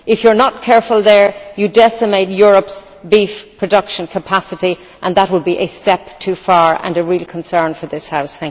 If you are not careful there, you will decimate Europe's beef production capacity and that would be a step too far and a real concern for this House.